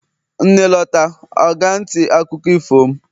nne lota, o ga nti akuko ifo m